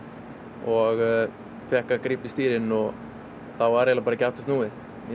og fékk að grípa í stýrin og þá var bara ekki aftur snúið